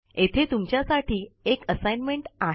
येथे तुमच्या साठी एक असाइनमेंट आहे